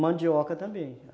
Mandioca também.